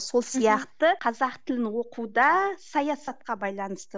сол сияқты қазақ тілін оқу да саясатқа байланысты